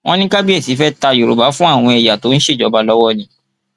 wọn ní kábíyèsí fẹẹ ta yorùbá fún àwọn ẹyà tó ń ṣèjọba lọwọ ni